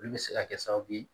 Olu bɛ se ka kɛ sababu ye